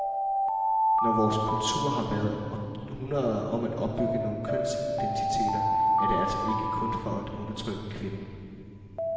Når vores kultur har været århundreder om at opbygge nogle kønsidentiteter, er det altså ikke kun for at undertrykke kvinden.